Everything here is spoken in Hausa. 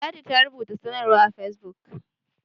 ladi ta rubuta sanarwa a fesbuk